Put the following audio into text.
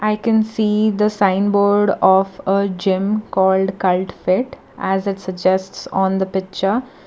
i can see the signboard of uh gym called cult fit as it suggests on the picture.